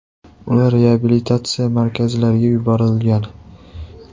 Ular reabilitatsiya markazlariga yuborilgan.